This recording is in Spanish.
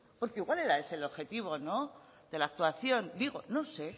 porque igual ere ese el objetivo de la actuación digo no sé